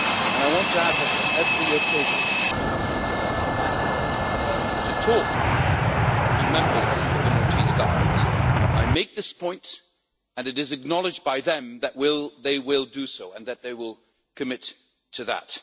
I want to add that, on every occasion that I have to talk to members of the Maltese Government, I make this point and it is acknowledged by them that they will do so and that they will commit to that.